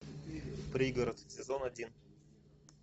пригород сезон один